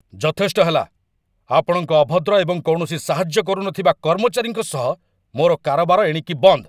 ଯଥେଷ୍ଟ ହେଲା, ଆପଣଙ୍କ ଅଭଦ୍ର ଏବଂ କୌଣସି ସାହାଯ୍ୟ କରୁନଥିବା କର୍ମଚାରୀଙ୍କ ସହ ମୋର କାରବାର ଏଣିକି ବନ୍ଦ୍।